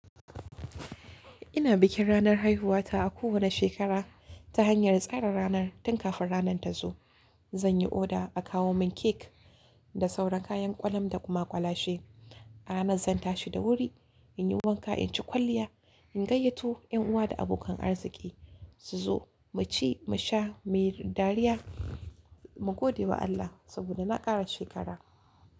Ina bikin ranar haihuwata a kowane shekara ta hanyar tsara ranar tun kafin ranar ta zo. Zan yi oda a kawo mun cake da sauran kayan ƙwalam da kuma ƙwalashe. A ranar zan tashi da wuri, in yi wanka, in ci kwalliya, in gayyato 'yan uwa da abokan arziki su zo mu ci, mu sha, mu yi dariya, mu gode wa Allah saboda na ƙara shekara.